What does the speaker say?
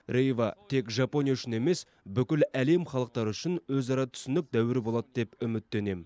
рейва тек жапония үшін емес бүкіл әлем халықтары үшін өзара түсінік дәуірі болады деп үміттенем